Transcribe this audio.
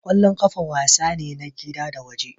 Kwallon kafa wasa ne na gida da waje.